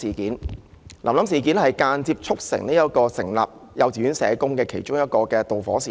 大家也知道，這是間接促成設立幼稚園社工的導火線之一。